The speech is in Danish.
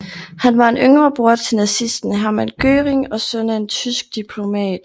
Han var en yngre bror til nazisten Hermann Göring og søn af en tysk diplomat